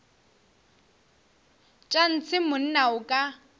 tša ntshe monna o ka